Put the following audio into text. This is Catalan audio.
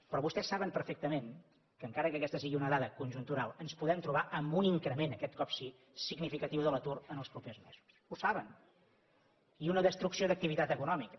però vostès saben perfectament que encara que aquesta sigui una dada conjuntural ens podem trobar amb un increment aquest cop sí significatiu de l’atur en els propers mesos ho saben i una destrucció d’activitat econòmica